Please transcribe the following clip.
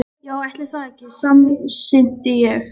Já, ætli það ekki, samsinnti ég.